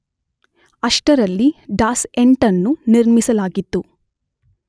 ಅಷ್ಟರಲ್ಲಿ ಡಾಸ್ 8 ಅನ್ನು ನಿರ್ಮಿಸಲಾಗಿತ್ತು.